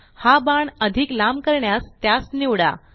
हा बाण अधिक लांब करण्यास त्यास निवडा